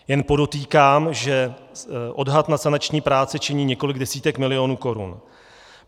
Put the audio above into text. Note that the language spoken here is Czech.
Jen podotýkám, že odhad na sanační práce činí několik desítek milionů korun.